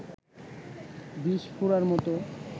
বিষফোঁড়ার মতো